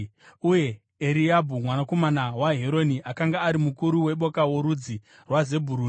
Uye Eriabhi mwanakomana waHeroni akanga ari mukuru weboka rorudzi rwaZebhuruni.